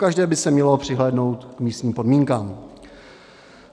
Pokaždé by se mělo přihlédnout k místním podmínkám.